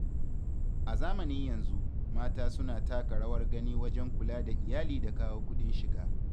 A zamanin yanzu, mata suna taka rawar gani wajen kula da iyali da kawo kudin shiga.